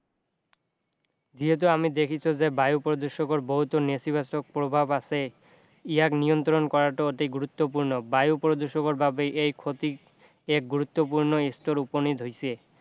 যিহেতু আমি দেখিছোঁ যে বায়ু প্ৰদূষকৰ বহুতো নেতিবাচক প্ৰভাৱ আছে ইয়াক নিয়ন্ত্ৰণ কৰাটো অতি গৰুত্বপূৰ্ণ বায়ু প্ৰদূষকৰ বাবে এই ক্ষতি এক গুৰুত্বপূৰ্ণ স্তৰ উপনীত হৈছে